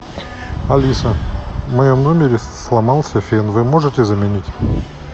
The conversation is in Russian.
алиса в моем номере сломался фен вы можете заменить